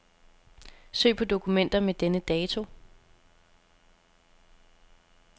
Søg på dokumenter med denne dato.